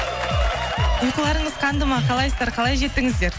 ұйқыларыңыз қанды ма қалайсыздар қалай жеттіңіздер